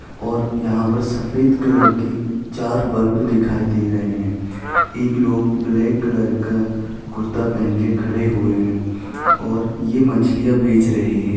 और यहाँ पर सफ़ेद कलर की चार बल्ब दिखाई दे रहे है एक लोग ब्लैक कलर का कुरता पहन के खड़े हुए है और ये मछलियाँ बेच रहे है।